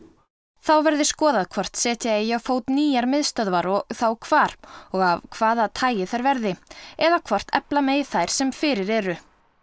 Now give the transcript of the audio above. þá verði skoðað hvort setja eigi á fót nýjar miðstöðvar og þá hvar og af hvaða tagi þær verði eða hvort efla megi þær sem fyrir eru